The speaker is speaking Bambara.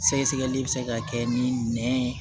Sɛgɛsɛgɛli bɛ se ka kɛ ni nɛn